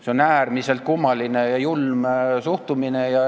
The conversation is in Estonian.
See on äärmiselt kummaline ja julm suhtumine.